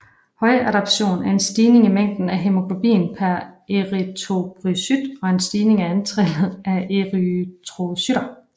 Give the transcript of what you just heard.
Højdeadaptation er en stigning i mængden af hæmoglobin per erythrocyt og en stigning i antallet af erythrocytter